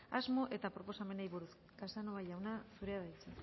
asmo eta proposamenei buruz casanova jauna zurea da hitza